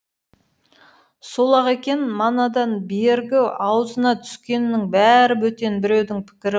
сол ақ екен манадан бергі ауызына түскеннің бәрі бөтен біреудің пікірі